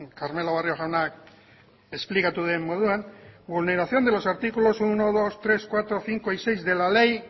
karmelo barrio jaunak esplikatu duen moduan vulneración de los artículos uno dos tres cuatro cinco y seis de la ley